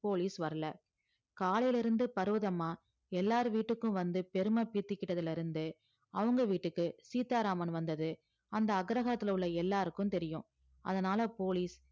police வரலை காலையில இருந்து பர்வதம்மா எல்லார் வீட்டுக்கும் வந்து பெருமை பீத்திக்கிட்டதுல இருந்து அவுங்க வீட்டுக்கு சீதாராமன் வந்தது அந்த அக்ரஹாத்துல உள்ள எல்லாருக்கும் தெரியும் அதனால போலீஸ்